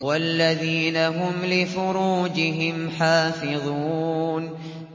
وَالَّذِينَ هُمْ لِفُرُوجِهِمْ حَافِظُونَ